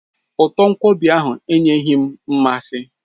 Uto nkwobi ahụ enyeghị m mmasị